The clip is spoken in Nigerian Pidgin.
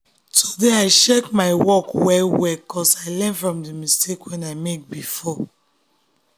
today i check my work well well ‘cause i learn from the mistake wey i make before.